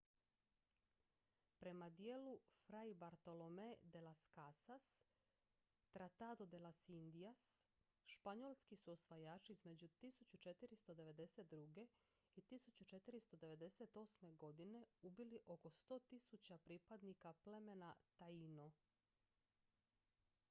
prema djelu fray bartolomé de las casas tratado de las indias španjolski su osvajači između 1492. i 1498. godine ubili oko 100 000 pripadnika plemena taíno